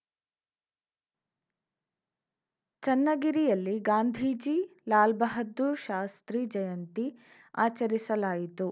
ಚನ್ನಗಿರಿಯಲ್ಲಿ ಗಾಂಧೀಜಿ ಲಾಲ್‌ ಬಹದ್ದೂರ್‌ ಶಾಸ್ತ್ರಿ ಜಯಂತಿ ಆಚರಿಸಲಾಯಿತು